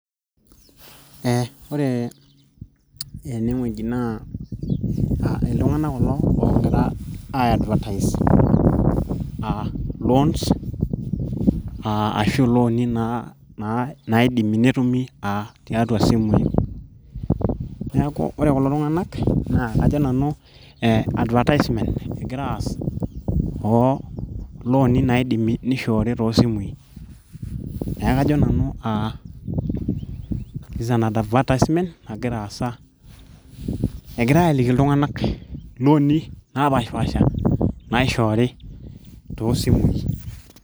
eh, ore enewueji naa uh iltung'anak kulo oogira ae advertise uh loans uh ashu iloni naa naidimi netumi tiatua isimui neeku ore kulo tung'anak naa kajo nanu eh advertisement egira aas oo looni naidimi nishoori toosimui neeku kajo nanu uh advertisement nagira aasa egirae aliki iltung'anak iloni napaasha naishoori tosimui.